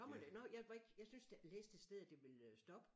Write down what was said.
Kommer det nå jeg var ikke jeg synes der læste et sted at det ville øh stoppe